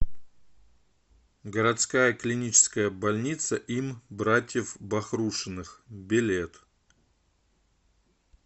городская клиническая больница им братьев бахрушиных билет